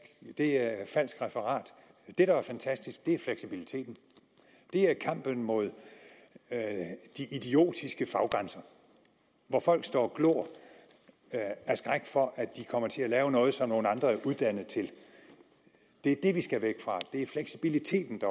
det er falsk referat det der er fantastisk er fleksibiliteten det er kampen mod de idiotiske faggrænser hvor folk står og glor af skræk for at de kommer til at lave noget som nogle andre er uddannet til det er det vi skal væk fra det er fleksibiliteten